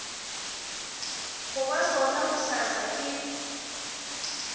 go ba sona bosasa ke